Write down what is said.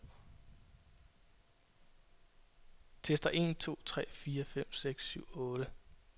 Tester en to tre fire fem seks syv otte.